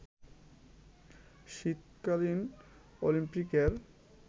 শীতকালীন অলিম্পিকের